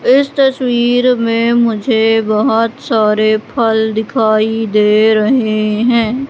इस तस्वीर में मुझे बहोत सारे फल दिखाई दे रहे हैं।